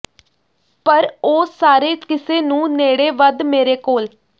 ਪਰ ਉਹ ਸਾਰੇ ਕਿਸੇ ਨੂੰ ਨੇੜੇ ਵੱਧ ਮੇਰੇ ਕੋਲ